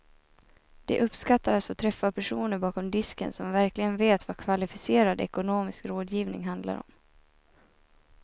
De uppskattar att få träffa personer bakom disken som verkligen vet vad kvalificerad ekonomisk rådgivning handlar om.